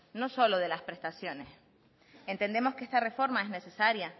no solo de las prestaciones entendemos que esta reforma es necesaria